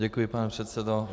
Děkuji, pane předsedo.